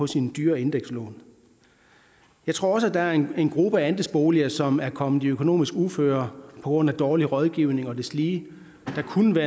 sine dyre indekslån jeg tror også at der er en gruppe andelsboliger som er kommet i økonomisk uføre grund af dårlig rådgivning og deslige der kunne det